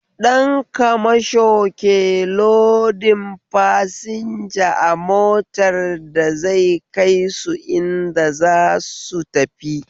Dan kamasho ke lodin fasinja a motar da zai kaisu inda zasu tafi